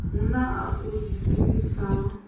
hu na a u dzivhisaho